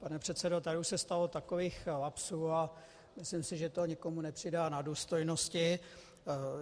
Pane předsedo, tady už se stalo takových lapsů a myslím si, že to nikomu nepřidá na důstojnosti.